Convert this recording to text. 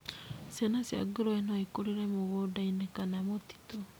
Ciana cia ngũrũe no ikũrĩre mĩgũnda-inĩ kana mũtitu.